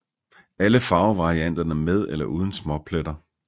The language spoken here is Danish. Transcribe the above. Alle farvevarianterne med eller uden småpletter